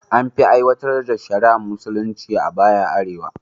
An fi aiwatar da shari’ar musulunci a baya a arewa